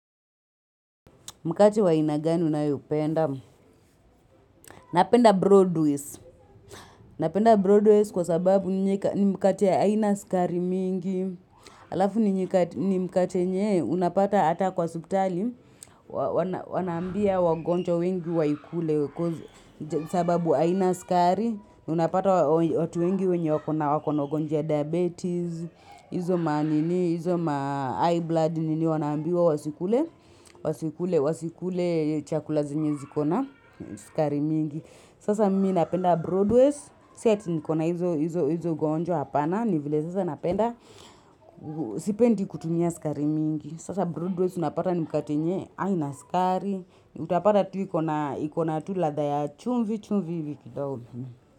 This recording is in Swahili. Mkache wa inagani unayopenda. Napenda Broadway. Napenda Broadway kwa sababu ni mkate aina skari mingi. Alafu ni mkate yenye unapata ata kwa subtali wana Wanaambia wagonjwa wengi waikule. Sababu aina skari. Unapata watu wengi wenye wakona wakona ugonjwa ya diabetes. Izo ma ninii, izo ma eye blood ninii wanaambiwa wasikule wasikule. Wasikule chakula zenye ziko na sukari mingi sasa mimi napenda broadways si ati nikona hizo ugonjwa hapana nivile sasa napenda sipendi kutumia skari mingi sasa broadways unapata ni mkate yenye aina skari utapata tu ikona tu ladha ya chumvi chumvi kidogo.